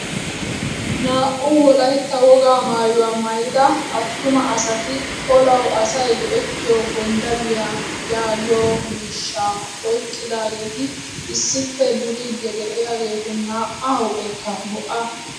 Naa"u wolaytta wogaa maayuwaa maayida attuma asati olawu asay go"ettiyoo gonddaliyaa yaagiyoo miishshaa oyqqidaageti issippe duriidi de'iyaagetu na"aa huuphphekka bo"a.